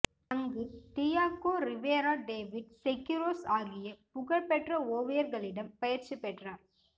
அங்கு Diego Rivera David Siqueiros ஆகிய புகழ் பெற்ற ஓவியர்களிடம் பயிற்சிப் பெற்றார்